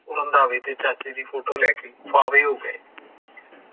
ਰੰਧਾਵੇ ਤੇ ਚਾਚੇ ਦੀ ਫੋਟੋ ਲੈ ਕੇ ਬਾਵੇ ਹੋ ਗਏ